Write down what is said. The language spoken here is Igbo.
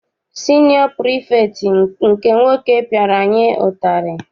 Siniọ pirifektị nke nwoke piara anyị ụtarị.